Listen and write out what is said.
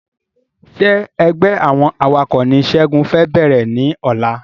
Ṣé ẹgbẹ́ àwọn awakọ̀ ni segun fẹ bẹ̀rẹ̀ ní ọ̀la